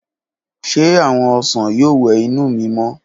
Ṣe awọn osan yoo wẹ inu mi mọ?